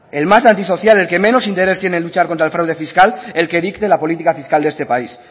el más antisocial el que menos interés tiene en luchar contra el fraude fiscal el que dicte la política fiscal de este país